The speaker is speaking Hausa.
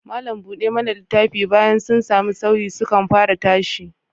Malam buɗe mana littafi, bayan sun sami sauyi, sukan fara tashi